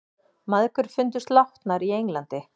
Mæðgur fundust látnar í Englandi